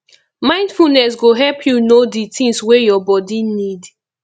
mindfulness go help you know di things wey your body need